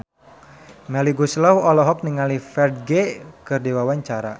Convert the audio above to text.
Melly Goeslaw olohok ningali Ferdge keur diwawancara